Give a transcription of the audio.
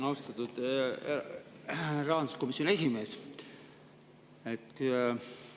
Austatud rahanduskomisjoni esimees!